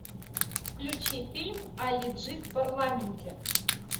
включи фильм али джи в парламенте